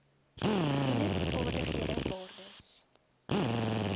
kennis vaardighede waardes